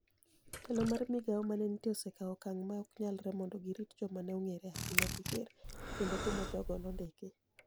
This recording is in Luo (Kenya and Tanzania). Telo mar migao mane nitie osekawo okang ' ma ok nyalre mondo girit joma ne onig'ere ahinya gi ker, kendo kumo jogo nondiki.